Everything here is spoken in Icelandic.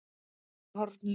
Þeir eru horfnir.